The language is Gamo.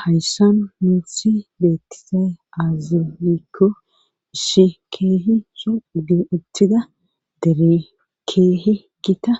Hayssan minthi beettisay aazilikko ishi keehi souttida deri keehi gita